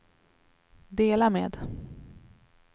dela med